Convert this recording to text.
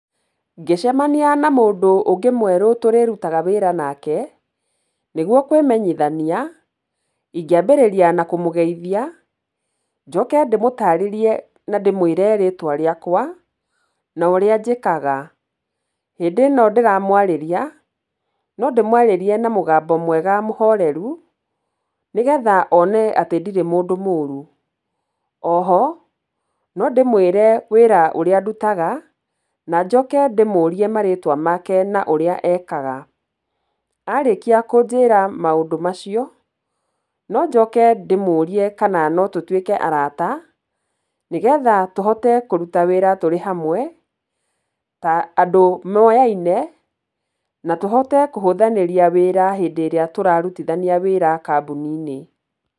Ngĩcemania na mũndũ ũngĩ mwerũ tũrĩrutaga wĩra nake, nĩguo kwĩmenyithania, ingĩambĩrĩria na kũmũgeithia, njoke ndĩmũtarĩrie na ndĩmwĩre rĩtwa rĩakwa, na ũrĩa njĩkaga, hĩndĩ ĩno ndĩramwarĩria, no ndĩmwarĩrie na mũgambo mwega mũhoreru, nĩgetha one atĩ ndirĩ mũndũ moru. O ho no ndĩmwĩre wĩra ũrĩa ndutaga na njoke ndĩmũrie marĩwa make na ũrĩa ekaga, arĩkia kũnjĩra maũndũ macio, no njoke ndĩmũrie kana no tũtuĩke arata, nĩgetha tũhote kũruta wĩra tũrĩ hamwe, ta andũ moyaine, na tũhote kũhũthanĩria wĩra hĩndĩ ĩrĩa tũrarutithania wĩra kambũni-inĩ.